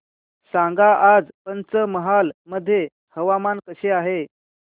सांगा आज पंचमहाल मध्ये हवामान कसे आहे